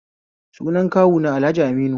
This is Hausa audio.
Sunan kawuna Alhaji Aminu